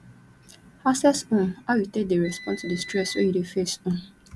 access um how you take dey respond to di stress wey you dey face um